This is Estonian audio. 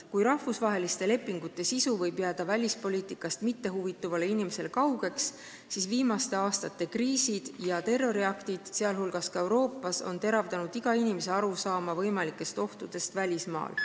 Kui rahvusvaheliste lepingute sisu võib välispoliitikast mittehuvituvale inimesele kaugeks jääda, siis viimaste aastate kriisid ja terroriaktid, sh Euroopas, on teravdanud iga inimese arusaama võimalikest ohtudest välismaal.